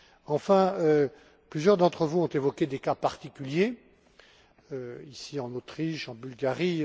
Enfin, plusieurs d'entre vous ont évoqué des cas particuliers, ici, en Autriche, en Bulgarie.